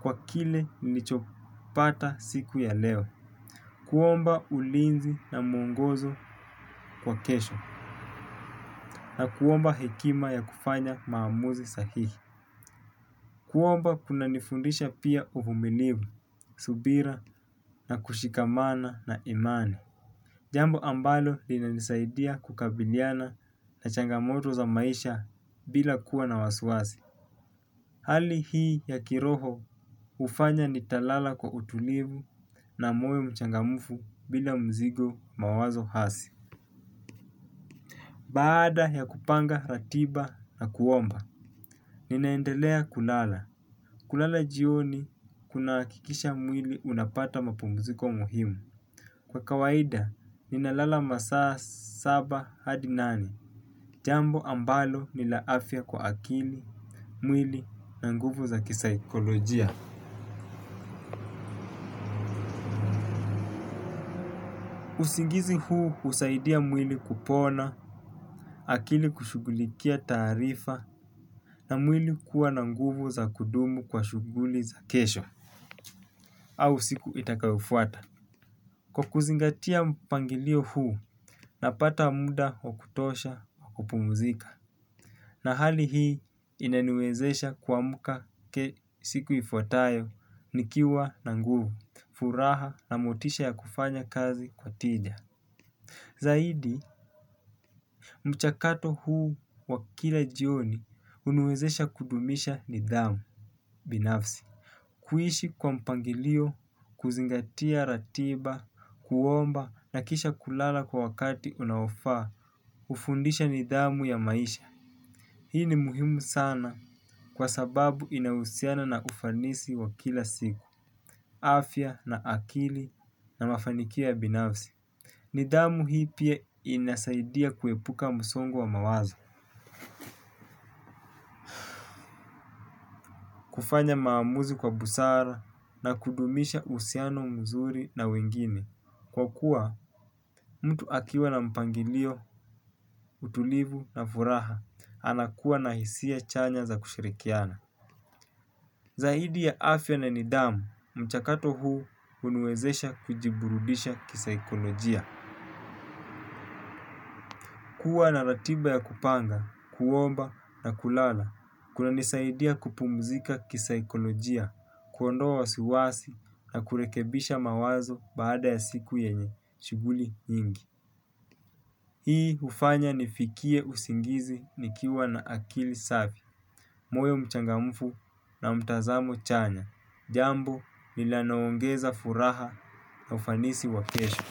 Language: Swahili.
kwa kile nilichopata siku ya leo. Kuomba ulinzi na mwongozo wa kesho na kuomba hekima ya kufanya maamuzi sahihi. Kuomba kunanifundisha pia uvumilivu, subira na kushikamana na imani. Jambo ambalo linanisaidia kukabiliana na changamoto za maisha bila kuwa na wasiwasi hali hii ya kiroho hufanya nitalala kwa utulivu na moyo mchangamfu bila mzigo mawazo hasi. Baada ya kupanga ratiba na kuomba ninaendelea kulala, kulala jioni kunahakikisha mwili unapata mapumziko muhimu. Kwa kawaida, ninalala masaa saba hadi nane. Jambo ambalo ni la afya kwa akili, mwili na nguvu za kisaikolojia usingizi huu husaidia mwili kupona, akili kushughulikia taarifa, na mwili kuwa na nguvu za kudumu kwa shughuli za kesho. Au siku itakayofuata. Kwa kuzingatia mpangilio huu, napata muda wa kutosha wa kupumuzika. Na hali hii inaniwezesha kuamka siku ifuatayo, nikiwa na nguvu, furaha na motisha ya kufanya kazi kwa tija. Zaidi, mchakato huu wa kila jioni huniwezesha kudumisha nidhamu, binafsi. Kuishi kwa mpangilio, kuzingatia ratiba, kuomba na kisha kulala kwa wakati unaofaa hufundisha nidhanu ya maisha. Hii ni muhimu sana kwa sababu inahusiana na ufanisi wa kila siku. Afya na akili na mafanikio ya binafsi nidhamu hii inasaidia pia kuepuka msongo wa mawazo. Kufanya maamuzi kwa busara na kudumisha uhusiano mzuri na wengine kwa kuwa mtu akiwa na mpangilio, utulivu na furaha, anakuwa na hisia chanya za kushirikiana. Zaidi ya afya na nidhamu, mchakato huu huniwezesha kujiburudisha kisaikolojia. Kua na ratiba ya kupanga, kuomba na kulala, kunanisaidia kupumzika kisaikolojia, kuondoa wasiwasi na kurekebisha mawazo baada ya siku yenye, shughuli nyingi. Hii hufanya nifikie usingizi nikiwa na akili safi. Moyo mchangamfu na mtazamo chanya jambo linaloongeza furaha na ufanisi wa kesho.